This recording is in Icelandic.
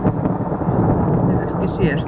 Spyr sá er ekki sér.